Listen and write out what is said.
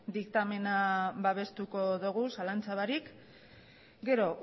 diktamena babestuko dogu zalantza barik gero